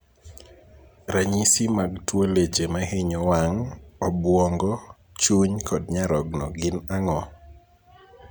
Ranyisi mag tuo leche mahinyo wang', obwongo, chuny kod nyarogno gin ang'o?